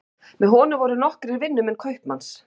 Með honum voru nokkrir vinnumenn kaupmanns.